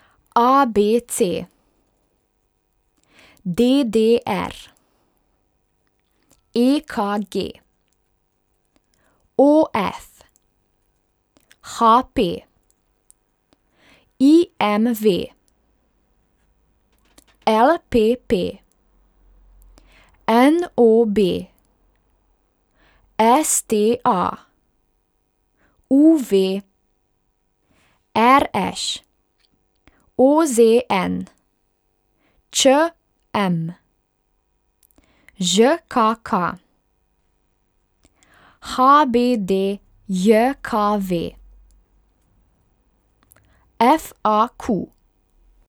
A B C; D D R; E K G; O F; H P; I M V; L P P; N O B; S T A; U V; R Š; O Z N; Č M; Ž K K; H B D J K V; F A Q.